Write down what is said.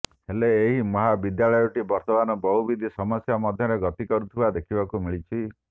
ହେଲେ ଏହି ମହାବିଦ୍ୟାଳୟଟି ବର୍ତ୍ତମାନ ବହୁବିଧି ସମସ୍ୟା ମଧ୍ୟରେ ଗତି କରୁଥିବା ଦେଖିବାକୁ ମିଳିଛି